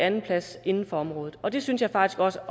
en plads inden for området og det synes jeg faktisk også